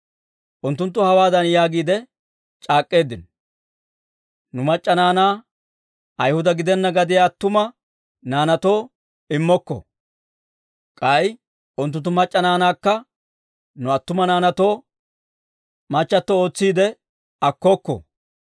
Unttunttu hawaadan yaagiide c'aak'k'eeddino; «Nu mac'c'a naanaa Ayhuda gidenna gadiyaa attuma naanaatoo immokko; k'ay unttunttu mac'c'a naanaakka nu attuma naanaatoo machato ootsiidde akkokko.